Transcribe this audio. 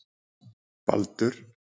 Baldur